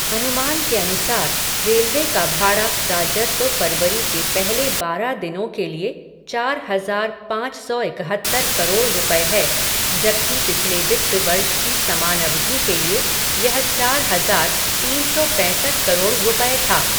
अनुमान के अनुसार, रेलवे का भाड़ा राजस्व फरवरी के पहले बारह दिनों के लिए चार हजार पाँच सौ इकहत्तर करोड़ रुपये है, जबकि पिछले वित्त वर्ष की समान अवधि के लिए यह चार हजार तीन सौ पैसठ करोड़ रुपये था।